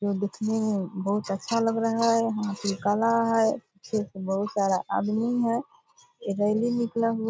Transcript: जो दिखने में बहुत अच्छा लग रहा है हाथी काला है इसमें बहुत सारा आदमी है रैली निकला हुआ --